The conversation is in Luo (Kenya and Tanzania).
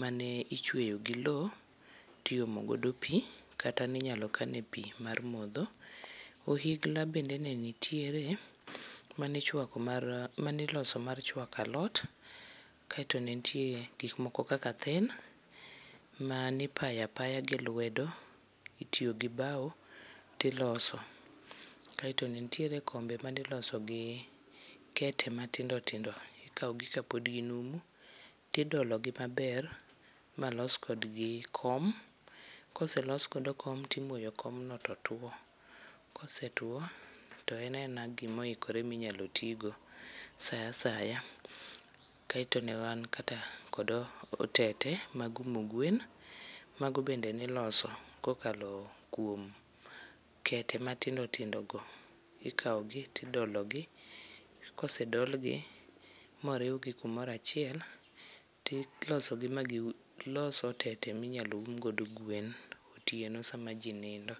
mane ichweyo gi loo tiomo godo pii kata ninyalo kane pii mar modho. Ohigla bende ne nitiere mane ichwako mar, mane iloso mar chwao alot, kaito ne nitie gik moko kaka then mane ipayo apaya gi lwedo, itiyo gi bau tiloso. Kaito ne nitie kombe miloso gi kete matindo tindo ,ikaw gi kapod ginumu to idolo gi maber malos kodgi kom, koselos godo kom timoyo kom no totuo, kosetuo toen aena gima oikore minyalo ti go saa asaya. Kaito newan kata kod otete mag umo go gwen , mago bend ene iloso kokalo kuom kete matindo tindo go, ikawgi tidolo gi, kosedol gi moriwgi kumoro achiel tilosogi ma gilos otete minyal um godo gwen otieno sama jii nindo